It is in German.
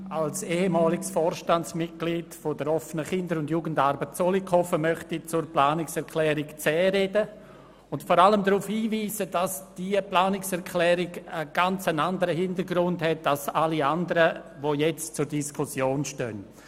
Als ehemaliges Vorstandsmitglied der OKJA Zollikofen möchte ich zur Planungserklärung 10 sprechen und vor allem darauf hinweisen, dass diese einen ganz anderen Hintergrund hat als die übrigen zur Diskussion stehenden.